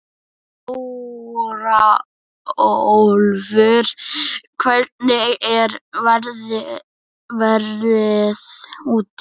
Þórólfur, hvernig er veðrið úti?